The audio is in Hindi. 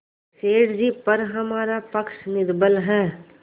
सेठ जीपर हमारा पक्ष निर्बल है